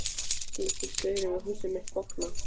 Skyldi staurinn við húsið mitt bogna?